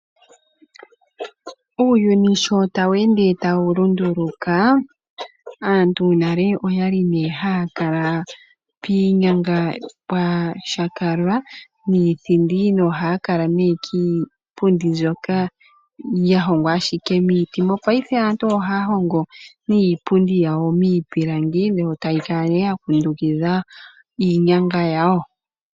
Uuyuni sho tawu ende tawu lunduluka aantu nale oyali ne haya kala piinyanga pwa temwa nithindi noha kala ne kiipundi mbyoka ya hongwa ashike miiti. Mopaife aantu ohaya hongo iipundi yawo miipilangi yo taya kala ya kundukidha iinyanga yawo.